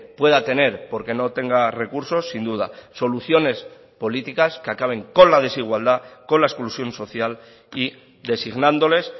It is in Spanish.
pueda tener porque no tenga recursos sin duda soluciones políticas que acaben con la desigualdad con la exclusión social y designándoles